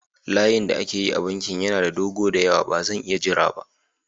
Layin da ake yi a bankin yana da dogo da yawa, ba zan iya jira ba.